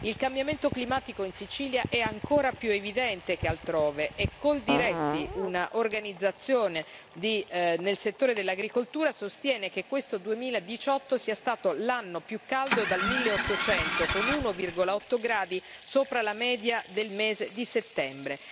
Il cambiamento climatico in Sicilia è ancora più evidente che altrove e Coldiretti, un'organizzazione del settore dell'agricoltura, sostiene che questo 2018 sia stato l'anno più caldo dal 1800, con 1,8 gradi sopra la media del mese di settembre.